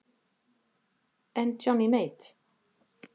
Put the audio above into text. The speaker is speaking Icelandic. En Johnny Mate?